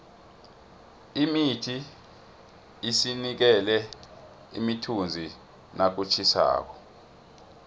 imithi isinikela imithunzi nakutjhisako